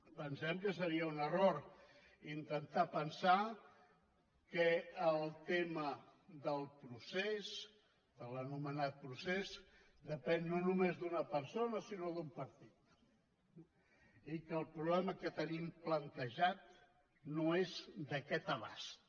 pensem que seria un error intentar pensar que el tema del procés de l’anomenat procés depèn no només d’una persona sinó d’un partit i que el problema que tenim plantejat no és d’aquest abast